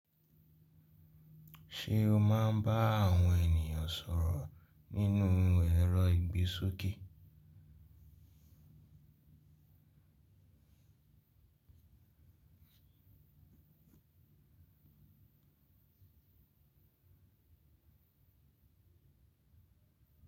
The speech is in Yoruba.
Ṣé o máa ń bá àwọn ènìyàn sọ̀rọ̀ nínú ẹ́rọ ìgbésókè?